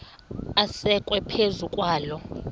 asekwe phezu kwaloo